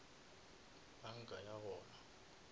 banka ya gona